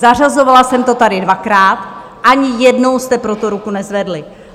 Zařazovala jsem to tady dvakrát, ani jednou jste pro to ruku nezvedli.